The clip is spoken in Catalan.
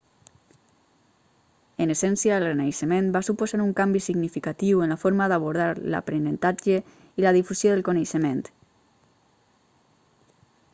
en essència el renaixement va suposar un canvi significatiu en la forma d'abordar l'aprenentatge i la difusió del coneixement